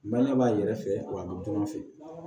Baɲumankɛ b'a yɛrɛ fɛ wa an bɛ jɔn fɛ